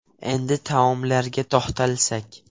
Endi taomlarga to‘xtalsak.